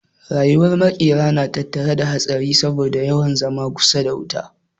Rayuwar makera na tattare da hatsari saboda yawan zama kusa da wuta